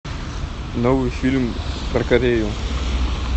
новый фильм про корею